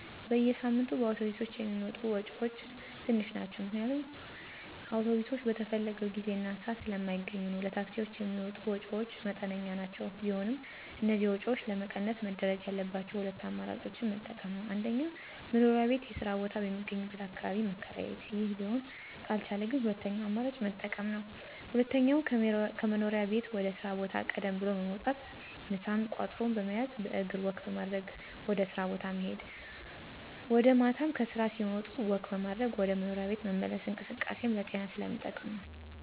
በየሳምንቱ በአውቶብሶች የሚወጡ ወጭወች ትንሽ ናቸው ምክንያቱም አውቶብሶች በተፈለገው ጊዜ እና ስአት ስለማገኙ ነዉ። ለታክሲወች የሚወጡ ወጭወች መጠነኛ ናቸው ቢሆንም እነዚህን ወጭወች ለመቀነስ መደረግ ያለባቸው ሁለት አማራጮችን መጠቀም ነወ። 1-መኖሪያ ቤት የስራ ቦታ በሚገኝበት አካባቢ መከራየት ይህ ሊሆን ካልቻለ ግን ሁለተኛውን አማራጭ መጠቀም ነው። 2-ከመኖሪያ ቤት ወደ ስራ ቦታ ቀደም ብሎ በመውጣት ምሳንም ቋጥሮ በመያዝ በእግር ወክ በማድረግ ወደ ስራ ቦታ መሄድ ወጀ ማታም ከስራ ሲወጣ ወክ በማድረግ ወደ መኖሪያ ቤት መመለስ እንቅስቃሴም ለጤና ስለሚጠቅም ነው።